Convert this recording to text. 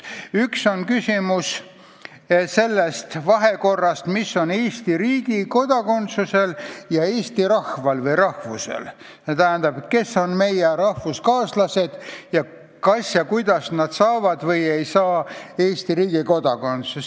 Üks on küsimus sellest, mis seos on Eesti riigi kodakondsusel ja eesti rahval või rahvusel, st kes on meie rahvuskaaslased ning kas nad saavad või ei saa Eesti riigi kodakondsust.